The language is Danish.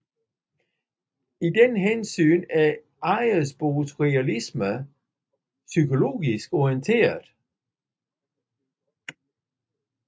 I den henseende er Ejersbos realisme psykologisk orienteret